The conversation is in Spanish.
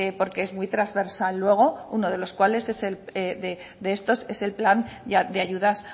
porque es muy trasversal luego uno de los cuales de estos es el plan de ayudas